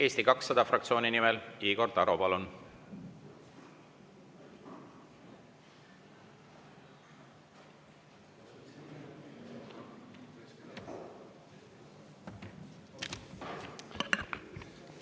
Eesti 200 fraktsiooni nimel Igor Taro, palun!